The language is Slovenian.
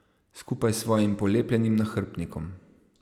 Skupaj s svojim polepljenim nahrbtnikom.